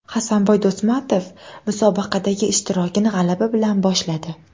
Hasanboy Do‘stmatov musobaqadagi ishtirokini g‘alaba bilan boshladi.